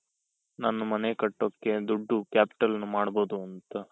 ನಮ್ದು ಮನೆ ಕಟ್ಟೋಕೆ ದುಡ್ಡು capital ಮಾಡ್ಬಹುದು ಅಂತ.